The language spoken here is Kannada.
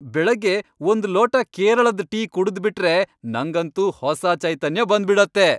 ಬೆಳಗ್ಗೆ ಒಂದ್ ಲೋಟ ಕೇರಳದ್ ಟೀ ಕುಡಿದ್ಬಿಟ್ರೆ ನಂಗಂತೂ ಹೊಸ ಚೈತನ್ಯ ಬಂದ್ಬಿಡತ್ತೆ.